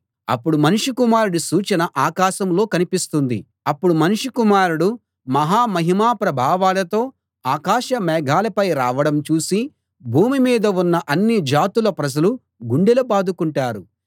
అప్పుడు మనుష్య కుమారుడి సూచన ఆకాశంలో కనిపిస్తుంది అప్పుడు మనుష్య కుమారుడు మహా మహిమా ప్రభావాలతో ఆకాశ మేఘాలపై రావడం చూసి భూమి మీద ఉన్న అన్ని జాతుల ప్రజలు గుండెలు బాదుకుంటారు